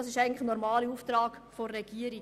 Das ist der normale Auftrag der Regierung.